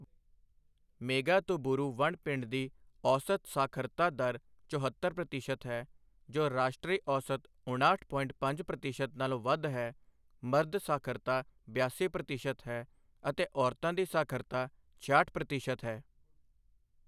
ਮੇਘਾਤੂਬੂਰੂ ਵਣ ਪਿੰਡ ਦੀ ਔਸਤ ਸਾਖਰਤਾ ਦਰ ਚੋਹਤੱਰ ਪ੍ਰਤੀਸ਼ਤ ਹੈ, ਜੋ ਰਾਸ਼ਟਰੀ ਔਸਤ ਉਣਾਹਠ ਪੋਇੰਟ ਪੰਜ ਪ੍ਰਤੀਸ਼ਤ ਨਾਲੋਂ ਵੱਧ ਹੈ, ਮਰਦ ਸਾਖਰਤਾ ਬਿਆਸੀ ਪ੍ਰਤੀਸ਼ਤ ਹੈ, ਅਤੇ ਔਰਤਾਂ ਦੀ ਸਾਖਰਤਾ ਛਿਆਹਠ ਪ੍ਰਤੀਸ਼ਤ ਹੈ।